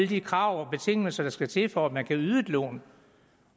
de krav og betingelser der skal til for at man kan yde et lån